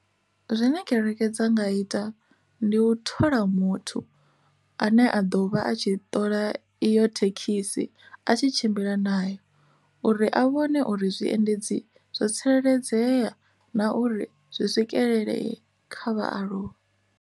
Zwine kereke fhedza nga ita ndi u thola muthu ane a ḓo vha a tshi ṱola iyo thekhisi a tshi tshimbila nayo uri a vhone uri zwiendedzi zwo tsireledzea na uri zwi swikelele kha vhaaluwa.